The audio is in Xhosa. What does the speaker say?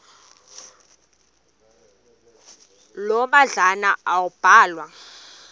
loo madlalana ambalwa